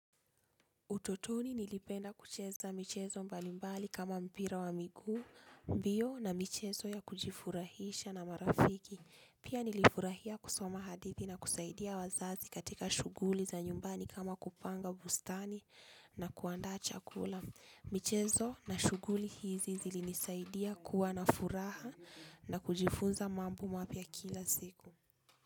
Utotoni nilipenda kucheza michezo mbalimbali kama mpira wa miguu, mbio na michezo ya kujifurahisha na marafiki. Pia nilifurahia kusoma hadithi na kusaidia wazazi katika shughuli za nyumbani kama kupanga bustani na kuandaa chakula. Michezo na shughuli hizi zilinisaidia kuwa nafuraha na kujifunza mambo mapya kila siku.